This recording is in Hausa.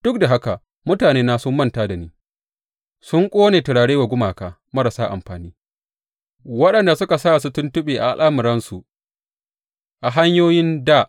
Duk da haka mutanena sun manta da ni; sun ƙone turare wa gumaka marasa amfani, waɗanda suka sa su tuntuɓe a al’amuransu a hanyoyin dā.